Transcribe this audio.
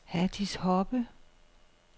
Hatice Hoppe